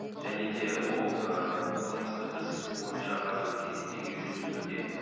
және де ол қылмыстық іс бойынша қазіргі кезде тергеу жүргізілуде